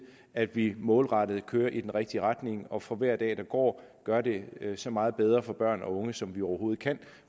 at vi målrettet kører i den rigtige retning og for hver dag der går gør det så meget bedre for børn og unge som vi overhovedet kan